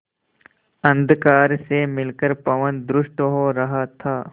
अंधकार से मिलकर पवन दुष्ट हो रहा था